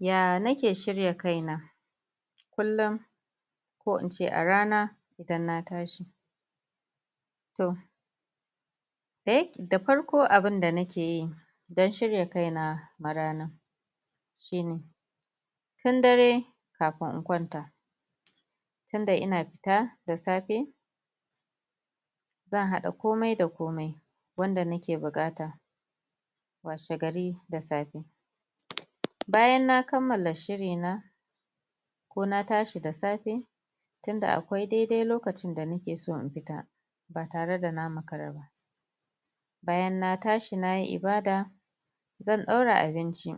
ya nake shirya kaina kullum ko ince a rana idan na tashi toh? da farko abun da na keyi don shirya kaina ma ranan shine tun dare kafin in kwanta tunda ina fita da safe zan haɗa komai da komai wanda nake bukata washe gari da safe bayan na kammala shiri na ko na tashi da safe tunda akwai dai dai lokacin da nake so in fita ba tare da na maka ra ba bayan na tashi nayi ibada zan daura abinci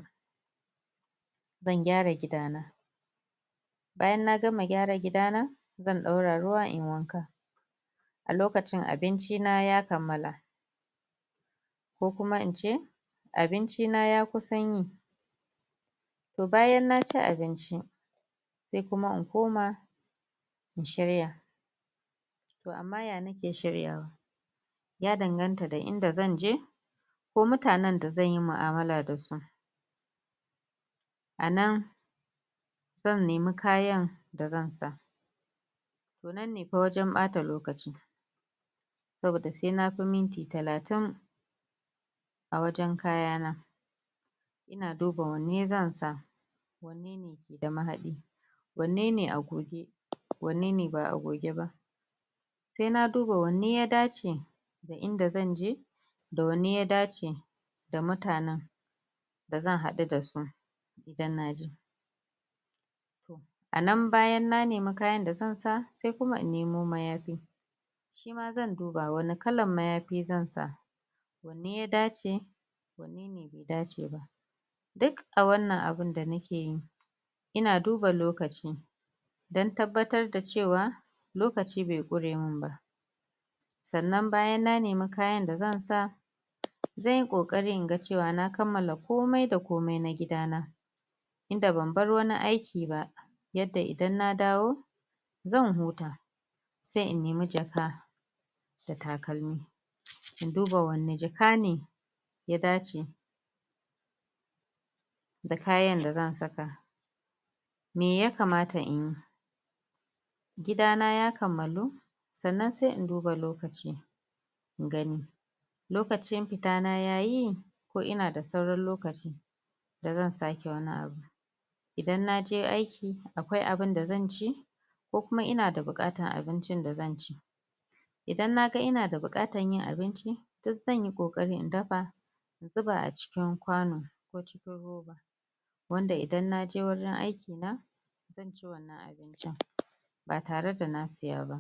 zan gyara gida na bayan na gama gyara gida na zan daura ruwa inyi wanka a lokacin abinci na ya kammala ko kuma ince abinci na ya kusan yi toh bayan naci abinci sai kuma in koma inshirya toh amma ya nake shirya wa ya dan ganta da inda zanje ko mutanen da zan yi mu'amala da su anan zan nemi kayan da zan sa to nan ne fa wajen bata lokacin saboda sai nafi minti talatin a wajen kaya na ina duba wanne zan sa wanne ne ke da mahadi wanne ne a goge wanne ne ba a goge ba sai naduba wanne ya dace da inda zanje da wanne ya dace da mutanen da zan hadu dasu idan naje anan bayan na nemi kayan da zan sa sai kuma in nemo mayafi shima zan duba wani kalan mayafi zan sa wanne ya dace wanne bai dace ba duk a wannan abun da na keyin ina duba lokaci don tabbatar da cewa lokaci bai quremin ba san nan bayan na nemi kayan da zansa zan yi kokari inga cewa na kammala komai da komai na gida na inda ban bar wani aiki ba yadda idan na dawo zan huta sai in nemi jaka da takalmi in duba wacce jaka ne ya dace da kayan da zan saka mai ya kamata inyi gida na ya kammalu sannan sai in duba lokaci in gani lokacin fita na yayi ko ina da sauran lokaci da zan sake wani abu idan naje aiki akwai abun da zanci ko kuma ina da bukatar abincin da zan ci idan naga ina da bukatar yin abinci duk zanyi kokari in dafa in zuba a cikin kwano ko cikin roba wanda idan naje wajen aiki na zan ci wannan abincin ba tare da na saya ba